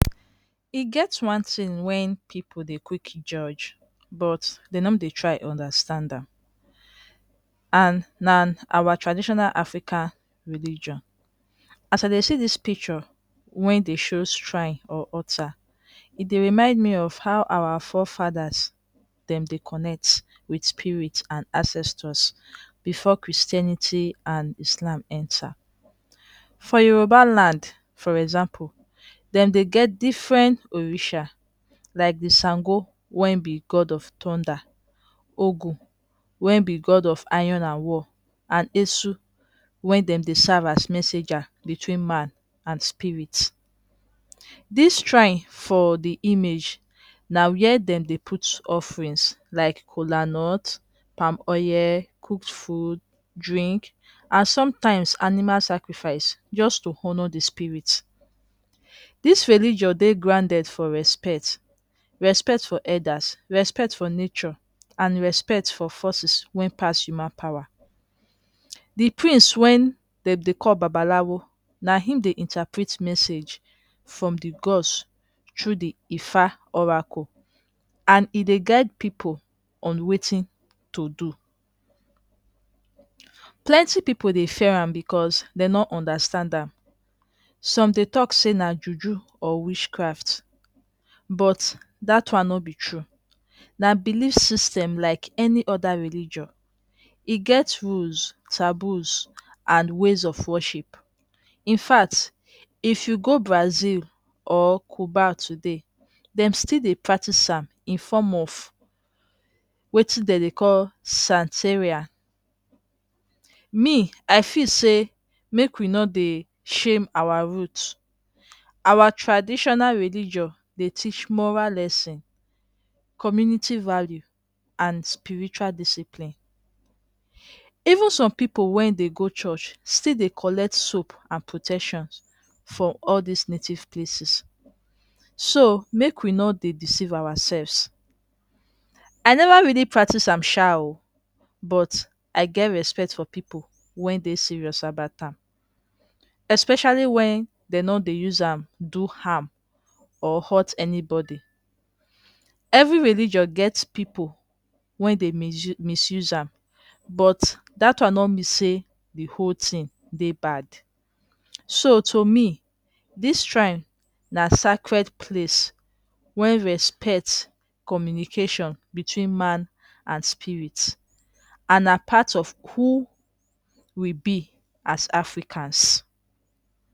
E get one thing wey people dey quick Judge but dey no dey try understand am and na our Traditional African Religion. as I dey see this picture, wey dey show shrine or altar. He dey remind me of how our forefathers dem dey connect with spirit and ancestors before Christianity and Islam enter. For Yorubaland, for example dem dey get different Orisa like Sango wey be God of thunder and Ogun God of Iron and war and Esu (Wey dem dey serve S messenger between Man and Spirit. These shrine for the image na where dem dey put offerings like Kolanut, Palm oil, Cooked Food, Drinks and sometimes animal Sacrifices just to honor the spirit. These religion dey grounded for respect, respct for elders, respect for nature, respect for forces wey pass human power. The Prince wey dem dey call babalawo na him dey interprete message from the God's through the oracles, and e dey guide people on wetin dem dey do but that one no be true na belief system like any other religion. He gets rules and taboo and ways of worship. Infact if you go Brazil or Cuba today dem still dey practice am inform of wetin dem dey call Satiria. Me, I feel say, make we no dey shame our route. Our traditional religion dey teach moral Lesson, community value and spiritual discipline. Even some people wey dey go church still dey collect soap and protections from all these native places. So, make we no dey deceive ourselves. I never really practice am sha, but I get respect for people wey dey serious about am, especially when dey no dey use am do harm or hurt anybody. Every religion get people wey dey misuse am. To me, this shrine an sacred place when respect, communication between Man and Spirit and are part of who we be as AFRICANS.